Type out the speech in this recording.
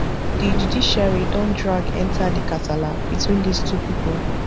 di judiciary don drag enta di kasala between dis two pipo